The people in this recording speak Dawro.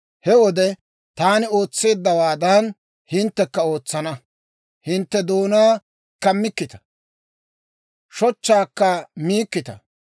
He wode taani ootseeddawaadan, hinttekka ootsana. Hintte doonaa kammikkita; shochchaakka miikkita.